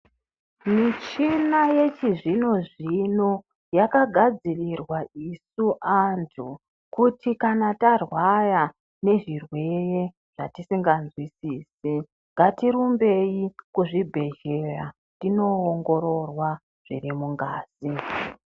Michina yechizvino zvino yakagadzirirwa isu antu, kuti kana tarwara nezvirwere zvatisingazwisisi, ngatirumbei kuzvibhedhlera tindoongororwa zvirimungazi.